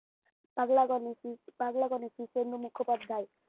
পাগলাগো নীতি পাগলাগো নীতি, তরুণ মুখোপাধ্যায়